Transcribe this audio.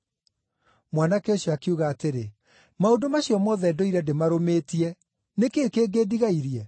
Mwanake ũcio akiuga atĩrĩ, “Maũndũ macio mothe ndũire ndĩmarũmĩtie, nĩ kĩĩ kĩngĩ ndigairie?”